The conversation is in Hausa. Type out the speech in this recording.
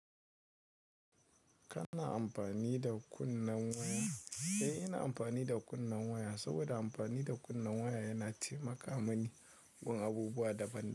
Kana anfani da kunni waya. Eh, ina amfani da kunni waya saboda amfani da kunni waya yana taimaka mani gun abubuwa daban daban.